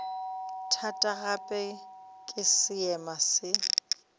thata gape ke seema se